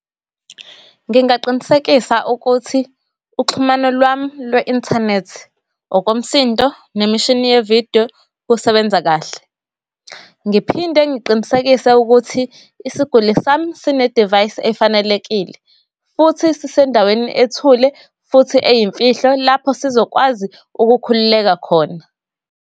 Ngingaqinisekisa ukuthi uxhumana lwami lwe-inthanethi, okomsindo, nemishini yevidiyo, kusebenza kahle. Ngiphinde ngiqinisekise ukuthi isiguli sami sine-device efanelekile, futhi sisendaweni ethule, futhi eyimfihlo, lapho sizokwazi ukukhululeka khona.